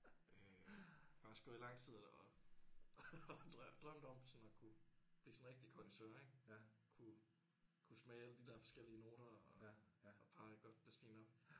Øh faktisk gået i lang tid og og drømt om sådan at kunne blive sådan en rigtig connaisseur ik kunne kunne smage alle de der forskellige noter og og parre et godt glas vin op